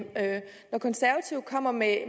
når konservative kommer med